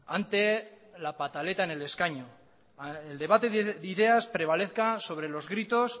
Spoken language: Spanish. ante la pataleta en el escaño el debate de ideas prevalezca sobre los gritos